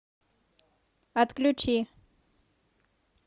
отключи